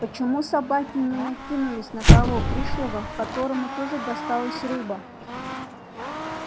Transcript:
почему собаки не накинулись на того пришлого которому тоже досталась рыба